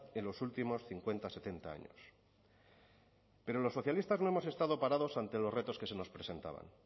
en los últimos cincuenta setenta años pero los socialistas no hemos estado parados ante los retos que se nos presentaban